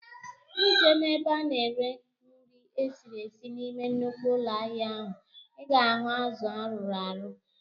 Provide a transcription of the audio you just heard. Ị jee n'ebe a ná-ere nri esiri esi n'ime nnukwu ụlọ ahịa ahụ, I ga ahụ azụ arụrụ arụ